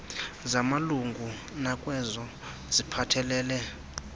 zamalungu nakwezo ziphathelele